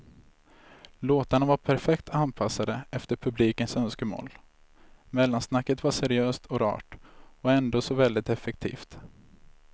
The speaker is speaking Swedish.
Låtarna var perfekt anpassade efter publikens önskemål, mellansnacket var seriöst och rart och ändå så väldigt effektivt.